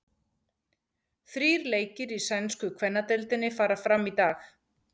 Þrír leikir í sænsku kvennadeildinni fara fram í dag.